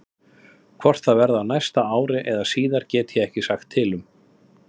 Hvort það verði á næsta ári eða síðar get ég ekki sagt til um.